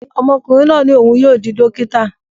Ọmọkùnrin náà ní òun yóò di dókítà